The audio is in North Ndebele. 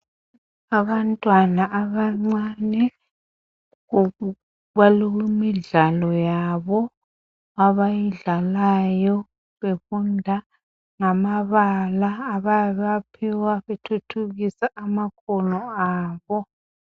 abantwana abancane banikwe imidlalo yabo abayidlalayo befunda ngamabala abayabe bewaphiwa okuthuthukisa amahunga abo